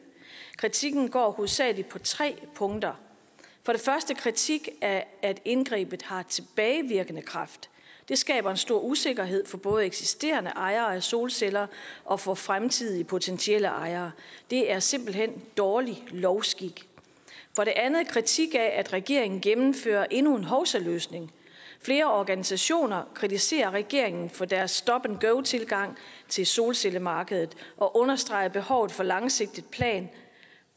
kritikken går hovedsagelig på tre punkter for det første kritik af at indgrebet har tilbagevirkende kraft det skaber en stor usikkerhed for både eksisterende ejere af solceller og for fremtidige potentielle ejere det er simpelt hen dårlig lovskik for det andet kritik af at regeringen gennemfører endnu en hovsaløsning flere organisationer kritiserer regeringen for deres stop and go tilgang til solcellemarkedet og understreger behovet for en langsigtet plan